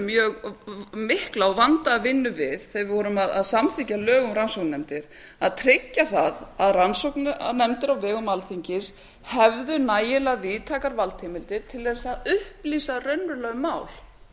mjög mikla og vandaða vinnu við þegar við vorum að samþykkja lög um rannsóknarnefndir að tryggja það að rannsóknarnefndir á vegum alþingis hefðu nægilega víðtækar valdheimildir til að upplýsa raunveruleg mál að